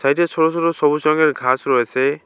সাইডে ছোট ছোট সবুজ রঙের ঘাস রয়েছে।